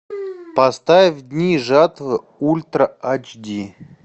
поставь дни жатвы ультра эйч ди